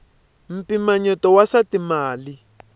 mpimanyeto wa swa timali